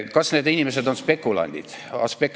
Kas need inimesed on spekulandid?